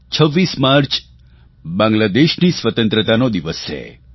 26 March બાંગ્લાદેશની સ્વતંત્રતાનો દિવસ છે